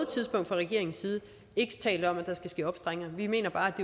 tidspunkt fra regeringens side ikke talt om at der skal ske opstramninger vi mener bare